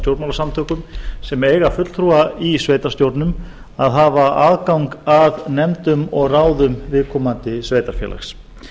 stjórnmálasamtökum sem eiga fulltrúa í sveitarstjórnum að hafa aðgang að nefndum og ráðum viðkomandi sveitarfélags